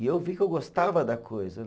E eu vi que eu gostava da coisa